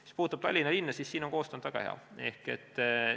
Mis puudutab Tallinna, siis siin on koostöö olnud väga hea.